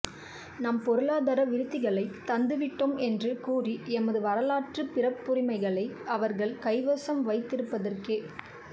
நாம் பொருளாதார விருத்திகளைத் தந்துவிட்டோம் என்று கூறி எமது வரலாற்றுப் பிறப்புரிமைகளை அவர்கள் கைவசம் வைத்திருப்பதற்கே